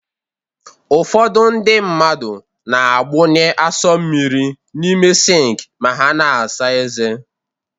Ụfọdụ ndị mmadụ na-agbụnye asọ mmiri n'ime sịnk ma ha na-asa ezé